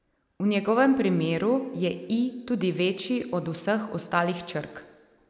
V njegovem primeru je I tudi večji od vseh ostalih črk.